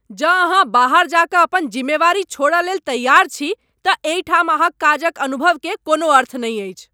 जँ अहाँ बाहर जा कऽ अपन जिम्मेवारी छोड़य लेल तैयार छी तँ एहि ठाम अहाँक काजक अनुभव के कोनो अर्थ नहि अछि।